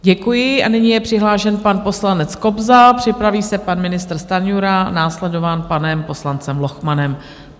Děkuji a nyní je přihlášen pan poslanec Kobza, připraví se pan ministr Stanjura, následován panem poslancem Lochmanem.